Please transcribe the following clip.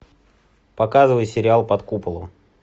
показывай сериал под куполом